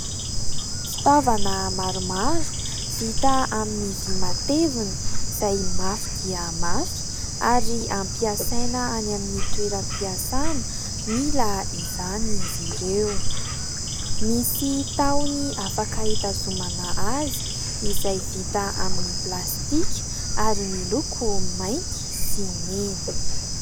Fitaovana maromaro, vita amin'ny vy matevina izay mafy dia mafy ary ampiasaina any amin'ny toeram-piasana mila izany izy ireo. Misy tahony afaka hitazomana azy izay vita amin'y plastika ary miloko mainty sy mena.